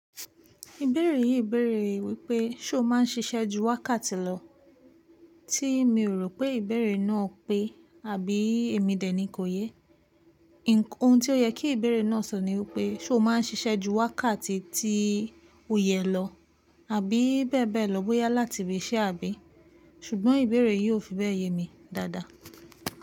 Ìbéèrè yìí béèrè wípé, ṣé o ma n ṣiṣẹ́ ju wákàtì lọ? Tí mi rò pé ìbéèrè náà pé àbí èmi dè ni kò yé. Òhun tí ó yẹ kí ìbéèrè náà sọ ní wípé, ṣé o ma n ṣiṣẹ́ ju wákàtì tí ó yẹ lọ, àbí bẹ́ẹ̀ bẹ́ẹ̀ lọ bóyá láti ibi iṣẹ́ àbí? Ṣùgbọ́n ìbéèrè yìí ó fi bẹ́ẹ̀ ye mi dáadáa.